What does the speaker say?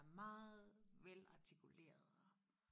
meget velartikuleret og